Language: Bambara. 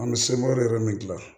An bɛ semɔrɔ min dilan